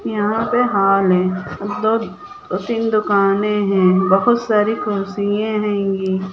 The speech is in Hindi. यहाँ पे हॉल हैं दो तीन दुकाने हैं बहुत सारी कुर्सियां हैंगी।